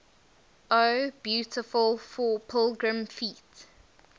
o beautiful for pilgrim feet